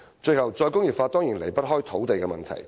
最後，"再工業化"當然離不開土地問題。